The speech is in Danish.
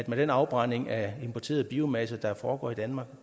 med den afbrænding af importeret biomasse der foregår i danmark